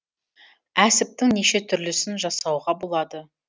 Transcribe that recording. әсіптің неше түрлісін жасауға болады